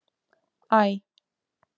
Æ